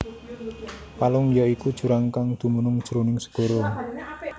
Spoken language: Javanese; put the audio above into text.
Palung ya iku jurang kang dumunung jroning segara